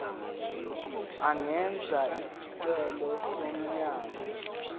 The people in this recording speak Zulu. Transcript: engenza isicelo somanyolo